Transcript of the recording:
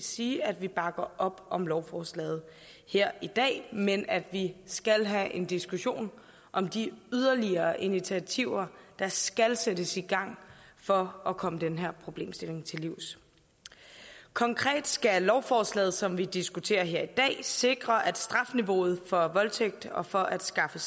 sige at vi bakker op om lovforslaget her i dag men at vi skal have en diskussion om de yderligere initiativer der skal sættes i gang for at komme den her problemstilling til livs konkret skal lovforslaget som vi diskuterer her i dag sikre at strafniveauet for voldtægt og for at skaffe